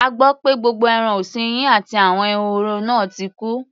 A gbọ́ pé gbogbo ẹran ọ̀sin yín àti àwọn ehoro náà ti kú.